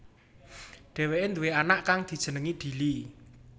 Dheweké duwé anak kang dijenengi Dili